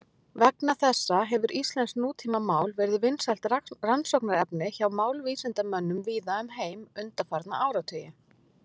Vegna þessa hefur íslenskt nútímamál verið vinsælt rannsóknarefni hjá málvísindamönnum víða um heim undanfarna áratugi.